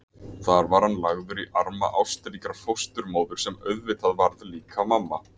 Þar var hann lagður í arma ástríkrar fósturmóður sem auðvitað varð líka mamma.